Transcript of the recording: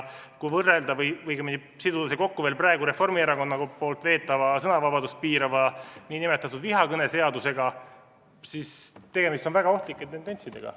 Kui siduda see kokku veel praegu Reformierakonna veetava sõnavabadust piirava nn vihakõneseadusega, siis on tegemist väga ohtlike tendentsidega.